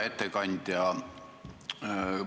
Hea ettekandja!